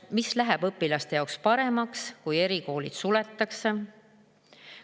Mis läheb õpilaste jaoks paremaks, kui erikoolid suletakse?